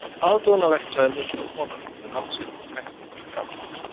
Aðdáunarvert sagði miðaldra kona við mann sinn á bekknum fyrir framan mig.